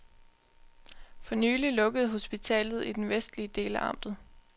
For nylig lukkede hospitalet i den vestlige del af amtet.